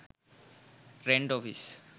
rent office